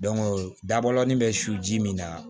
dabɔlen bɛ su min na